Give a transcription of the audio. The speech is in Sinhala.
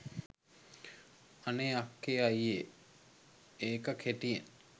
අනේ "අක්කේ අයියේ" ඒක කෙටියෙන්